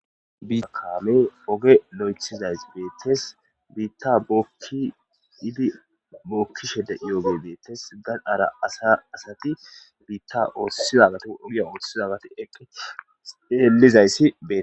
Kaame oge lo'ethizays beettes biitta kiifi bookkishede iyooge beettes gandhara asa asati biitta oothsizagato ogiya oothshidagati eqqi eellizayssi deee.